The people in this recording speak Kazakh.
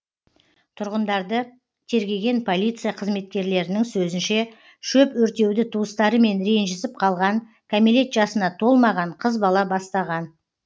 тұрғындарды тергеген полиция қызметкерлерінің сөзінше шөп өртеуді туыстарымен ренжісіп қалған кәмелет жасына толмаған қыз бала бастаған